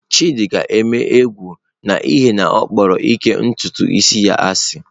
Chidi ga-eme egwu n'ihi na ọ kpọrọ ịka ntutu isi ya asị.